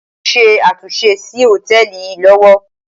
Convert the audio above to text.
Wọ́n ń ṣe àtúnṣe sí hòtẹ́ẹ̀lì yìí lọ́wọ́.